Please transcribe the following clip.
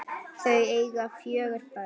Þau eiga fjögur börn.